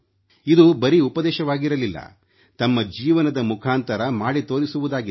ಇದು ಬರೀ ಉಪದೇಶವಾಗಿರಲಿಲ್ಲ ತಮ್ಮ ಜೀವನದ ಮುಖಾಂತರ ಮಾಡಿ ತೋರಿಸುವುದಾಗಿತ್ತು